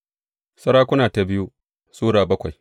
biyu Sarakuna Sura bakwai